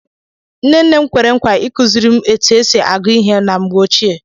Nne nne m kwere nkwa ikuziri etụ esị agụ ihe na mgbe ochie.